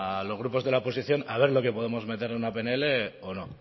a los grupos de la oposición a ver lo que podemos meter en una pnl o no